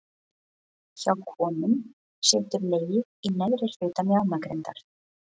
Hjá konum situr legið í neðri hluta mjaðmagrindar.